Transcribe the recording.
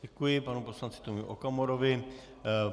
Děkuji panu poslanci Tomio Okamurovi.